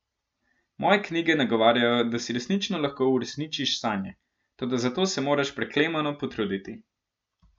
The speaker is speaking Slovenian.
Moje knjige nagovarjajo, da si resnično lahko uresničiš sanje, toda za to se moraš preklemano potruditi.